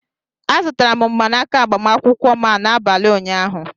A zụtara m mgbanaka agbamakwụkwọ a n'abalị ụnyaahụ